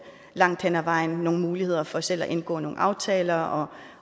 langt hen ad vejen nogle muligheder for selv at indgå nogle aftaler og